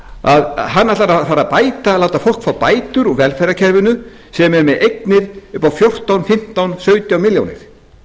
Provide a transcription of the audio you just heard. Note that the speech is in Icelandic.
á eftir hann ætlar að fara að láta fólk fá bætur úr velferðarkerfinu sem er með eignir upp á fjórtán fimmtán sautján milljónir